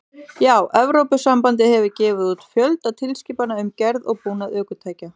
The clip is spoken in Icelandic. Já, Evrópusambandið hefur gefið út fjölda tilskipana um gerð og búnað ökutækja.